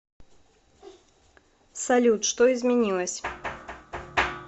салют что изменилось